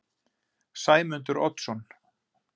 Sæmundur Oddsson